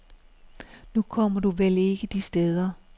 Nu kommer du vel ikke de steder.